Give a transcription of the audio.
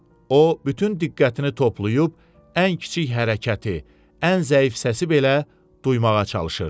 O bütün diqqətini toplayıb ən kiçik hərəkəti, ən zəif səsi belə duymağa çalışırdı.